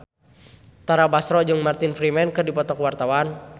Tara Basro jeung Martin Freeman keur dipoto ku wartawan